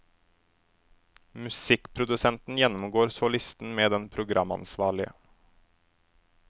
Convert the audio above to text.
Musikkprodusenten gjennomgår så listen med den programansvarlige.